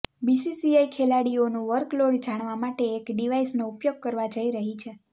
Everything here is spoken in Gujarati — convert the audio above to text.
બીસીસીઆઈ ખેલાડીઓનું વર્કલોડ જાણવા માટે એક ડિવાઈસનો ઉપયોગ કરવા જઈ રહી છે